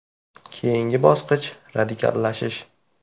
“Keyingi bosqich radikallashish.